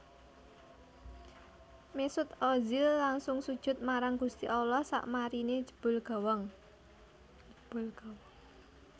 Mesut Ozil langsung sujud marang gusti Allah sakmarine njebol gawang